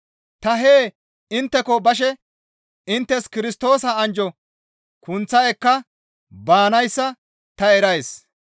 Ta hee intteko bashe inttes Kirstoosa anjjo kunththa ekka baanayssa ta erays.